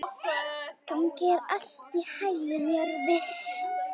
Gangi þér allt í haginn, Jörvi.